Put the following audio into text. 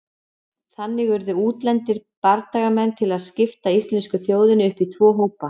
Þannig urðu útlendir bardagamenn til að skipta íslensku þjóðinni upp í tvo hópa.